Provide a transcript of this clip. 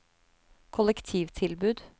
kollektivtilbud